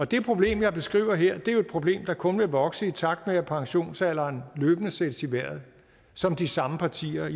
det problem jeg beskriver her er jo et problem der kun vil vokse i takt med at pensionsalderen løbende sættes i vejret som de samme partier